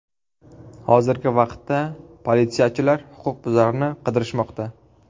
Hozirgi vaqtda politsiyachilar huquqbuzarni qidirishmoqda.